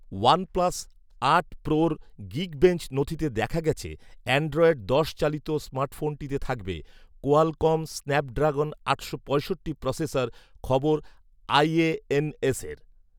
OnePlus আট প্রো’র Geekbench নথিতে দেখা গেছে অ্যান্ড্রয়েড দশ চালিত স্মার্টফোনটিতে থাকবে কোয়ালকম স্ন্যাপড্রাগন আটশো পঁয়ষট্টা প্রসেসর, খবর আইএএনএসের